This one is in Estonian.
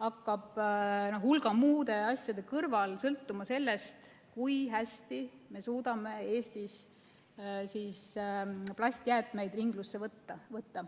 hakkab hulga muude asjade kõrval sõltuma sellest, kui hästi me suudame Eestis plastjäätmeid ringlusse võtta.